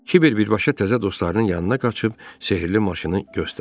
Kibir birbaşa təzə dostlarının yanına qaçıb sehrli maşını göstərdi.